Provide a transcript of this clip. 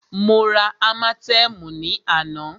Mó rá ámátẹ̀ẹ̀mú ní àná.